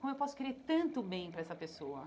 Como eu posso querer tanto bem para essa pessoa?